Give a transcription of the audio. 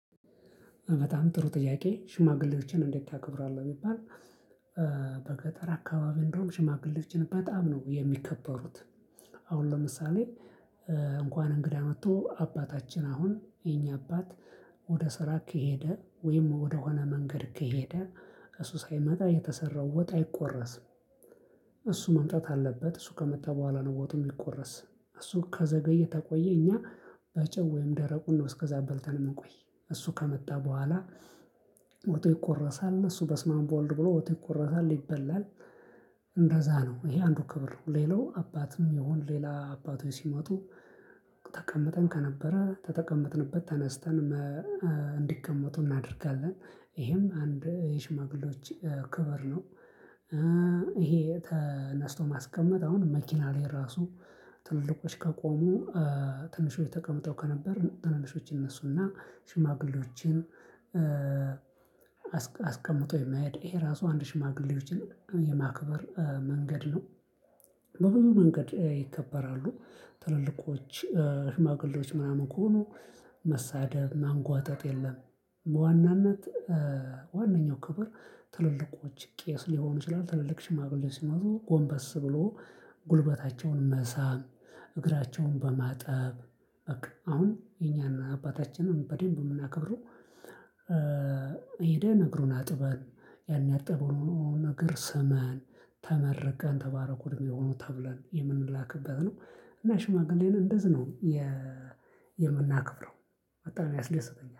በጣም ጥሩ ጥያቄ ሽማግሌዎችን እንዴት ታከብራለህ? ብባል፣ በገጠር አካባቢ እንደውም ሽማግሌዎችን በጣም ነው የሚከበሩት። አሁን ለምሳሌ እንኳን እንግዳ መጥቶ አባታችን አሁን የኛ አባት ወደ ስራ ከሄደ ወይም ወደሆነ መንገድ ከሄደ እሱ ሳይመጣ የተሰራው ወጥ አይቆረስም። እሱ መምጣት አለበት። እሱ ከመጣ በኋላ ነው ወጡ የሚቆረስ። እሱ ከዘገየ ተቆየ እኛ በጨው ወይም ደረቁን ነው እስከዛ በልተን የምንቆይ። እሱ ከመጣ በኋላ ወጡ ይቆረሳል፣ እሱ በስመ አብ በወልድ ብሎ ወጡ ይቆረሳል ይበላል እንደዛ ነው። ይሄ አንዱ ክብር ነው። ሌላው አባትም ይሁን ሌላ አባቶች ሲመጡ ተቀምጠን ከነበረ ተጠቀመጥንበት ተነስተን እንዲቀመጡ እናደርጋለን። ይሄም አንድ የሽማግሌዎች ክብር ነው። ይሄ ተነስቶ ማስቀመጥ አሁን መኪና ላይ ራሱ ትልቆች ከቆሙ ትንሾች ተቀመጠው ከነበር ትናንሾች ይነሱና ሽማግሌዎችን አስቀምጦ የመሄድ፣ ይሄ ራሱ አንድ ሽማግሌዎችን የማክበር መንገድ ነው። በብዙ መንገድ ይከበራሉ። ትልልቆች ሽማግሌዎች ምናምን ከሆኑ መሳደብ ማንጓጠጥ የለም። በዋናነት ዋነኛው ክብር ትልልቆች ቄስ ሊሆኑ ይችላል ትልልቅ ሽማግሌዎች ሲኖሩ ጎንበስ ብሎ ጉልበታቸውን መሳም እግራቸውን በማጠብ አሁን የኛን አባታችንን በደንብ የምናከብረው ሄደን እግሩን አጥበን ያን ያጠብነውን ነገር ስመን ተመርቀን ተባረኩ በሩክ ሁኑ ተብለን የምንላክበት ነው። እና ሽማግሌን እንደዚህ ነው የምናከብረው፣ በጣም ያስደስተኛል።